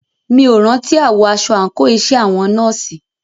Mí ò rántí àwọ̀ aṣọ àńkò iṣẹ́ àwọn nọ́ọ̀sì.